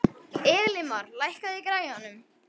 Elimar, lækkaðu í græjunum.